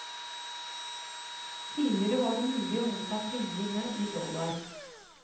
Tidligere var det mulig å motta pengene i dollar.